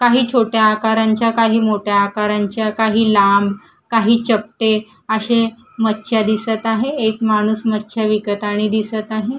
काही छोट्या आकारांच्या काही मोठ्या आकारांच्या काही लांब काही चपटे अशे मच्छे दिसत आहे एक माणूस मच्छे विकतानी दिसत आहे.